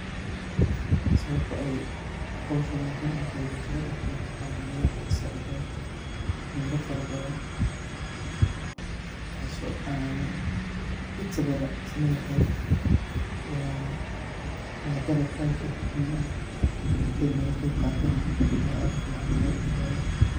Sababta ay howshani muhiim utahay bulshada dhaxdeeda waxa waye waxay saacida melo fara badan taaso an inta badan isleyahay waa dalag aad u muhiim ah ini laga qeb qaato na ay aad u ficantahay